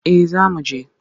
Eh zamu je.